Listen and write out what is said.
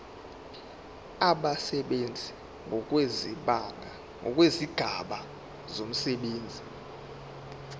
abasebenzi ngokwezigaba zomsebenzi